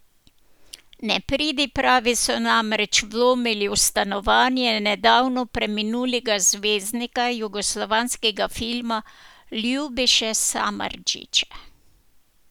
Nepridipravi so namreč vlomili v stanovanje nedavno preminulega zvezdnika jugoslovanskega filma Ljubiše Samardžića.